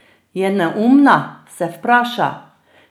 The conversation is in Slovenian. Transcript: Je neumna, se vpraša.